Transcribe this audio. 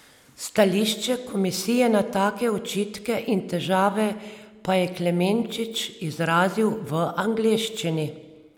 Stališče komisije na take očitke in težave pa je Klemenčič izrazil v angleščini.